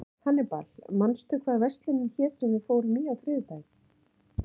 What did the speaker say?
Hannibal, manstu hvað verslunin hét sem við fórum í á þriðjudaginn?